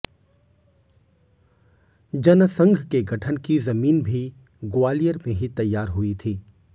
जनसंघ के गठन की जमीन भी ग्वालियर में ही तैयार हुई थी